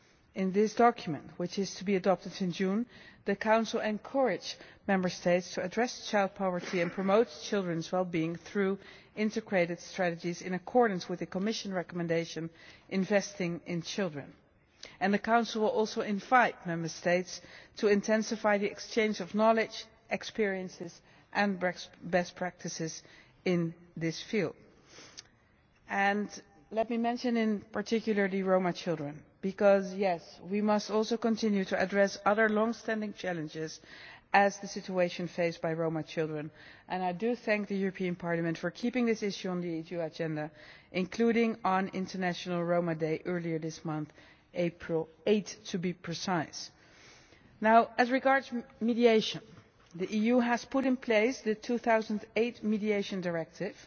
In this document, which is to be adopted in June, the Council encourages Member States to address child poverty and promote children's wellbeing through integrated strategies in accordance with the Commission recommendation Investing in children'. The Council also invites Member States to intensify the exchange of knowledge, experiences and best practices in this field. Let me mention in particular the Roma children because, yes, we must also continue to address other longstanding challenges in addition to the situation faced by Roma children, and I thank the European Parliament for keeping this issue on the EU agenda, including on International Roma Day earlier this month, on 8 April to be precise. As regards mediation, the EU has put in place the 2008 Mediation Directive,